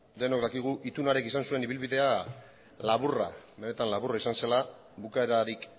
denok dakigu itun hark izan zuen ibilbide benetan laburra izan zela bukaerarik